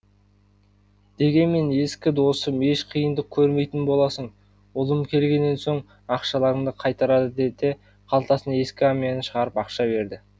дегенмен ескі досым еш қиындық көрмейтін боласың ұлым келгеннен соң ақшаларыңды қайтарады деді де қалтасынан ескі әмиянын шығарып ақша берді